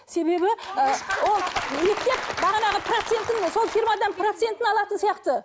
себебі ы ол мектеп бағанағы процентін сол фирмадан процентін алатын сияқты